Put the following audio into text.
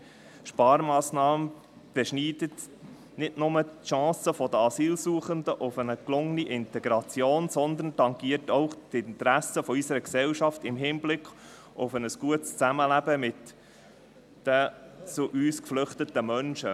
Eine solche Sparmassnahme beschneidet nicht nur die Chance der Asylsuchenden auf eine gelungene Integration, sondern tangiert auch die Interessen unserer Gesellschaft in Hinblick auf ein gutes Zusammenleben mit den zu uns geflüchteten Menschen.